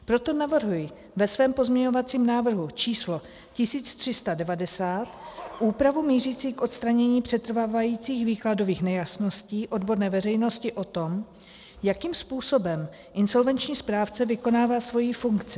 Proto navrhuji ve svém pozměňovacím návrhu číslo 1390 úpravu mířící k odstranění přetrvávajících výkladových nejasností odborné veřejnosti o tom, jakým způsobem insolvenční správce vykonává svoji funkci.